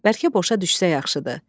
Bərkə boşa düşsə yaxşıdır.